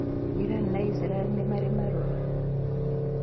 Irani na Isiraĩri ni marĩ marũa?